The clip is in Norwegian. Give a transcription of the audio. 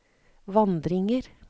vandringer